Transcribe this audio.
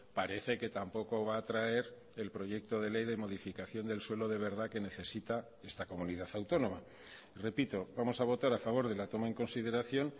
parece que tampoco va a traer el proyecto de ley de modificación del suelo de verdad que necesita esta comunidad autónoma repito vamos a votar a favor de la toma en consideración